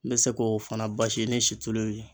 N bɛ se k'o fana basi ni situlu ye.